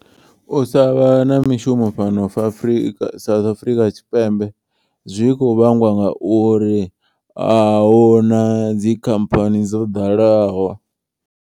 U sa vha na mishumo fhano Afrika South Afurika Tshipembe. Zwi kho vhangwa ngauri ahuna dzikhamphani dzo ḓalaho.